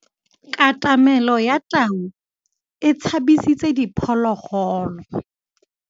Katamêlô ya tau e tshabisitse diphôlôgôlô.